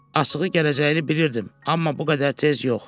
Açığı, gələcəyini bilirdim, amma bu qədər tez yox.